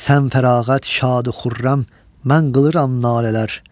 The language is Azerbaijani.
Sən fərağət şadu xürrəm, mən qılıram nalələr.